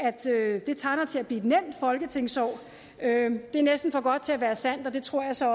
det tegner til at blive et nemt folketingsår det er næsten for godt til at være sandt og det tror jeg så